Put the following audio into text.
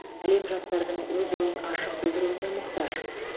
әлем жастардың өз ойын ашық білдіруіне мұқтаж